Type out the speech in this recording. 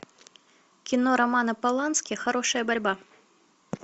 кино романа полански хорошая борьба